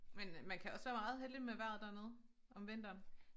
Men man kan også være meget heldig med vejret dernede om vinteren